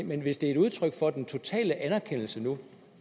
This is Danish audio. men hvis det er et udtryk for den totale anerkendelse nu